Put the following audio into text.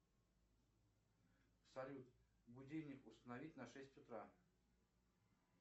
салют будильник установить на шесть утра